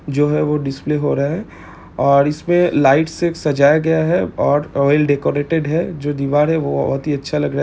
जो है वह डिस्प्ले हो रहा है और इसपे लाइट से एक सजाया गया है और ऑइल डेकोरेटेड है जो दीवार है वो बहुत ही अच्छा लग रहा--